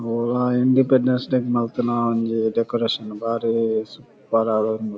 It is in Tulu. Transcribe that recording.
ಒವ್ ಆ ಇಂಡಿಪೆಂಡೆನ್ಸ್ ಡೇ ಗ್ ಮಲ್ತಿನ ಒಂಜಿ ಡೆಕೊರೇಶನ್ ಬಾರಿ ಸೂಪರ್ ಆದ್ ಉಂಡು.